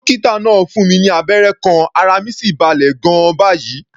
Dókítà náà fún mi ní abẹ́rẹ́ kan, ara mi sì balẹ̀ gan-an báyìí.